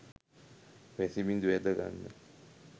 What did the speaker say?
වැසිබිඳු ඇද ගන්න